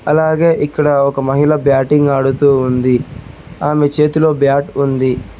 అలాగే ఇక్కడ ఒక మహిళ బ్యాటింగ్ ఆడుతూ ఉంది ఆమె చేతిలో బాట్ ఉంది.